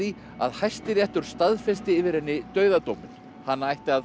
að Hæstiréttur staðfesti yfir henni dauðadóminn hana ætti að